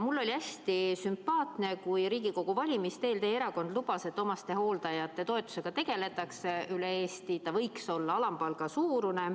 Mulle oli hästi sümpaatne, kui Riigikogu valimiste eel teie erakond lubas, et omastehooldajate toetusega tegeldakse üle Eesti, see võiks olla alampalga suurune.